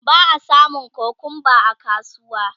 ba a samun kukumba a kasuwa